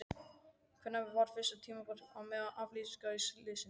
Hvenær var fyrst tímabært að meta afleiðingar slyssins?